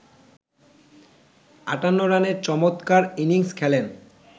৫৮ রানের চমৎকার ইনিংস খেলেন